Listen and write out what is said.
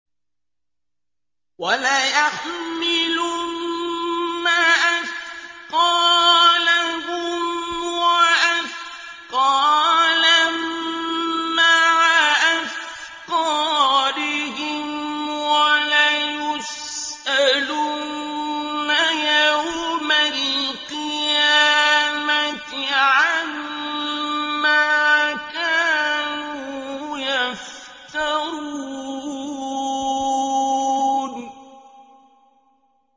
وَلَيَحْمِلُنَّ أَثْقَالَهُمْ وَأَثْقَالًا مَّعَ أَثْقَالِهِمْ ۖ وَلَيُسْأَلُنَّ يَوْمَ الْقِيَامَةِ عَمَّا كَانُوا يَفْتَرُونَ